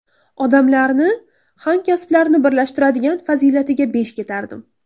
Odamlarni, hamkasblarini birlashtiradigan fazilatiga besh ketardim.